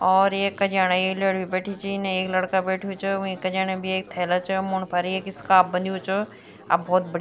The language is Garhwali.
और एक कज्याण एक लौड़ी भी बैठ्यी च इने एक लड़का बैठ्युं च वि कजनियुं म भी एक थैला च मुंड फर एक स्कार्फ़ बंध्यु च अ बहौत बढ़िया --